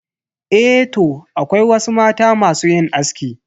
Eh toh, akwai wasu mata masu yin aski.